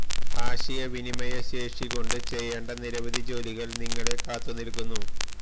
ആശയ വിനിമയ ശേഷി കൊണ്ട് ചെയ്യേണ്ട നിരവധി ജോലികൾ നിങ്ങളെ കാത്തു നിൽക്കുന്നു